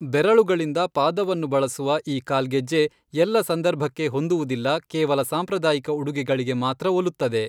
ಬೆರಳುಗಳಿಂದ ಪಾದವನ್ನು ಬಳಸುವ ಈ ಕಾಲ್ಗೆಜ್ಜೆ ಎಲ್ಲ ಸಂದರ್ಭಕ್ಕೆ ಹೊಂದುವುದಿಲ್ಲ ಕೇವಲ ಸಾಂಪ್ರಾದಾಯಿಕ ಉಡುಗೆಗಳಿಗೆ ಮಾತ್ರ ಒಲುತ್ತದೆ.